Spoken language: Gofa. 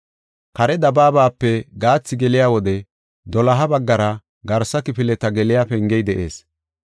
Kare dabaabape gathi geliya wode doloha baggara garsa kifileta geliya pengey de7ees.